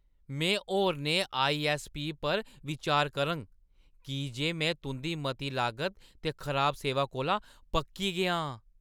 में होरनें आई.ऐस्स.पी. पर बिचार करङ की जे में तुंʼदी मती लागत ते खराब सेवा कोला पक्की गेआ आं।